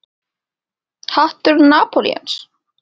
Hattur Napóleons?